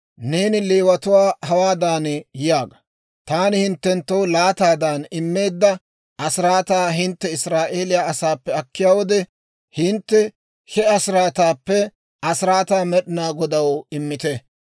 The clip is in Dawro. «Neeni Leewatuwaa hawaadan yaaga; ‹Taani hinttenttoo laataadan immeedda asiraataa hintte Israa'eeliyaa asaappe akkiyaa wode, hintte he asiraataappe asiraataa Med'inaa Godaw immite.